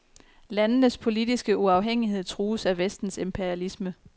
Landenes politiske uafhængighed trues af vestens imperialisme.